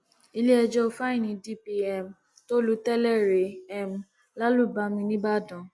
iléẹjọ fáìní dp um tó lu tẹlẹ rẹ um lálùbami nìbàdàn